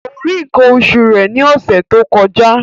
Kò rí nǹkan oṣù rẹ̀ ní ọ̀sẹ̀ tó kọjá